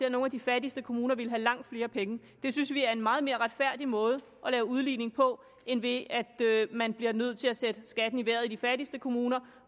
og nogle af de fattigste kommuner ville have langt flere penge det synes vi er en meget mere retfærdig måde at lave udligning på end ved at man bliver nødt til at sætte skatten i vejret i de fattigste kommuner